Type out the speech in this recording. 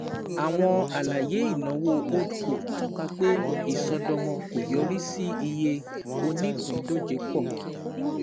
Àwọn alaye ìnáwó HoldCos tọ́ka pé ìṣọ́dọ̀mọ́ kò yorì sí iye onípíndójẹ pọ̀.